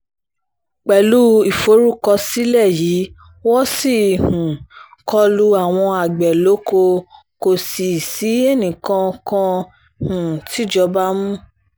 pẹ̀lú ìforúkọsílẹ̀ yìí wọ́n ṣì ń um kọ lu àwọn àgbẹ̀ lóko kò sì sí ẹnìkan kan um tìjọba mú